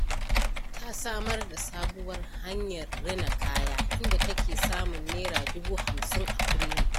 Ta samar da sabuwar hanyar rina kaya, inda take samun Naira dubu hamsin a kullum.